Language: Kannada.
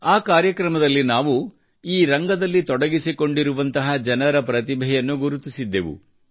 ಆ ಕಾರ್ಯಕ್ರಮದಲ್ಲಿ ನಾವು ಈ ರಂಗದಲ್ಲಿ ತೊಡಗಿಸಿಕೊಂಡಿರುವಂತಹ ಜನರ ಪ್ರತಿಭೆಯನ್ನು ಗುರುತಿಸಿದ್ದೆವು